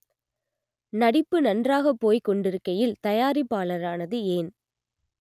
நடிப்பு நன்றாகப் போய்க்கொண்டிருக்கையில் தயாரிப்பாளரானது ஏன்